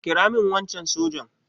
kira min wancan sojan!